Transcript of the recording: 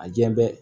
A diɲɛ bɛɛ